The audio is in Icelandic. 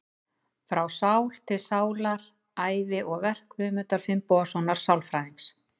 Frá sál til sálar: Ævi og verk Guðmundar Finnbogasonar sálfræðings.